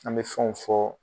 An bɛ fɛnw fɔ